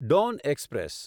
Don express